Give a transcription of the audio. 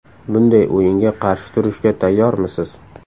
Bunday o‘yinga qarshi turishga tayyormisiz?